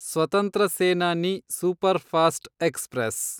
ಸ್ವತಂತ್ರ Senani superfast express